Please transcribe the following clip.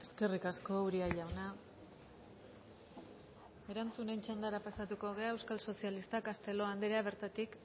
eskerrik asko uria jauna erantzunen txandara pasatuko gara euskal sozialistak castelo anderea bertatik